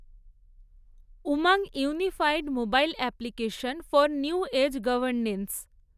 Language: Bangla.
Umang unified mobile application for new age governance